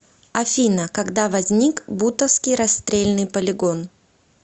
афина когда возник бутовский расстрельный полигон